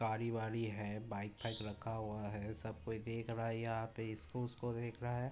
गाड़ी वाड़ी है। बाइक फाइक रखा हुआ है। सब कोई देख रहा है। यहाँ पे इसको उसको देख रहा है।